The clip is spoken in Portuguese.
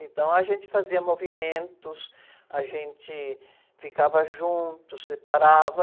Então a gente fazia movimentos, a gente ficava junto, separava.